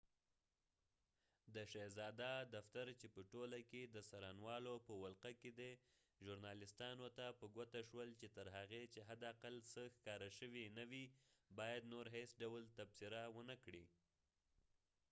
د شهزاده دفتر چې په ټوله کې د څارنوالو په ولقه کې دی ژورنالیستانو ته په ګوته شول چې تر هغې چې حداقل څه ښکاره شوي نه وي باید نور هیڅ ډول تبصره ونکړي